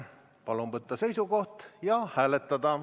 Palun võtta seisukoht ja hääletada.